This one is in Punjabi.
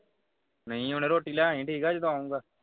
ਨਹੀਂ ਹੋਣੇ ਰੋਟੀ ਲੈ ਆਵੀਂ ਜਦੋਂ ਆਉਂਦਾ